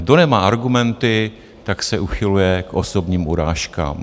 Kdo nemá argumenty, tak se uchyluje k osobním urážkám.